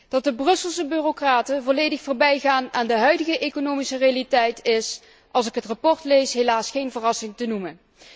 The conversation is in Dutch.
Dat de Brusselse bureaucraten volledig voorbijgaan aan de huidige economische realiteit, is, als ik het verslag lees, helaas geen verrassing te noemen.